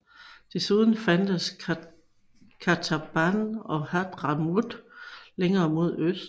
Desuden fandtes Qataban og Hadhramaut længere mod øst